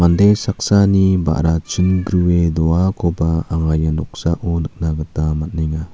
ande saksani ba·ra chingrue doakoba anga ia noksao nikna gita man·enga.